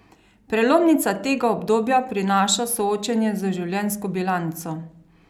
Prelomnica tega obdobja prinaša soočenje z življenjsko bilanco.